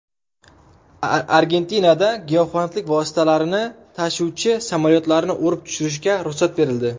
Argentinada giyohvandlik vositalarini tashuvchi samolyotlarni urib tushirishga ruxsat berildi.